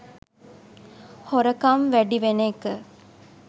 හොරකම් වැඩි වෙන එක